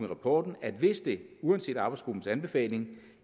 rapporten at hvis det uanset arbejdsgruppens anbefaling